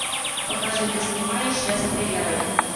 покажи ты снимаешь я стреляю